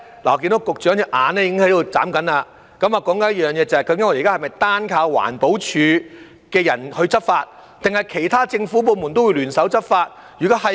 我看到局長的眼睛在眨，我要說的是，屆時是否單靠環保署的人員執法，還是其他政府部門都會聯手執法呢？